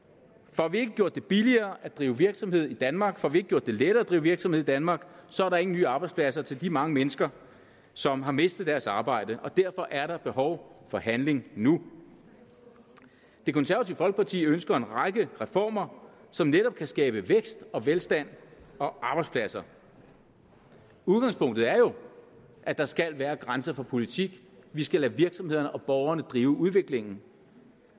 får vi ikke gjort det billigere at drive virksomhed i danmark får vi ikke gjort det lettere at drive virksomhed danmark så er der ingen nye arbejdspladser til de mange mennesker som har mistet deres arbejde og derfor er der behov for handling nu det konservative folkeparti ønsker en række reformer som netop kan skabe vækst og velstand og arbejdspladser udgangspunktet er jo at der skal være grænser for politik vi skal lade virksomhederne og borgerne drive udviklingen